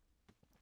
TV 2